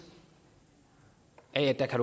af at